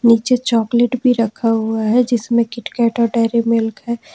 नीचे चॉकलेट भी रखा हुआ है जिसमें किटकैट और डेरीमिल्क है।